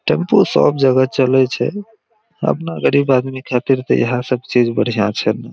Tempo सब जगह चले छै अपना गरीब आदमी खातिर त ईहा सब चीज बढ़िया छै।